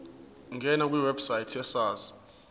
ngena kwiwebsite yesars